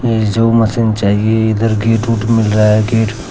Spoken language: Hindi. जो मशीन चाहिए इधर गेट ओट रहा है गेट ।